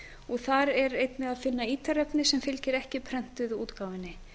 og þar er einnig að finna ítarefni sem fylgir ekki prentuðu útgáfunni